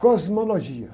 Cosmologia.